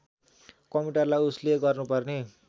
कम्प्युटरलाई उसले गर्नुपर्ने